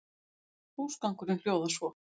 Húsgangurinn hljóðar svo